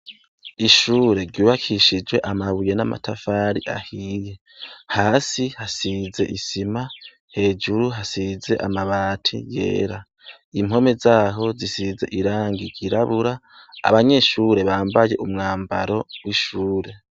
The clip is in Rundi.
Ishure ryubakishijwe amabuye n'amatafari ahiye. Hasi hasize isima, hejuru hasize amabati yera. Impome zaho zisize irangi ryirabura, abanyeshure bambaye umwambaro w'ishure.